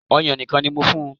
Ọ̀yàn nìkan ni mo fún un